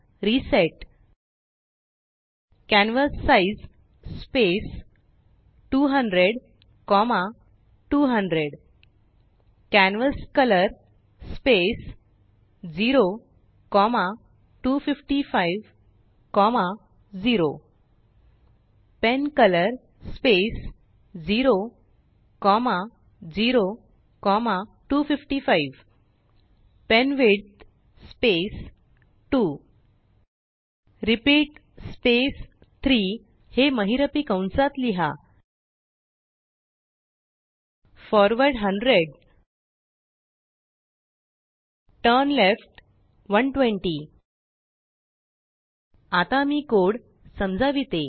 reset canvas size space 200200 canvas colour space 02550 pen colour space 00255 pen width space 2 repeatस्पेस3हे महिरपीकंसात लिहा फॉरवर्ड 100 टर्नलेफ्ट 120 आता मी कोड समजावितो